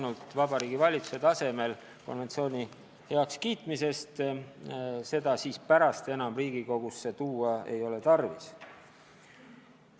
Ja Vabariigi Valitsuse tasemel konventsiooni heakskiitmisest tõesti piisab, seda enam Riigikogusse tuua ei ole tarvis.